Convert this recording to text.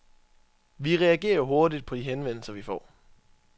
Vi reagerer hurtigt på de henvendelser, vi får.